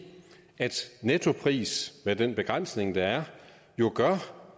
at nettoprisen med den begrænsning der er jo gør at